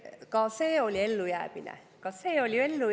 Ka see oli ellujäämise.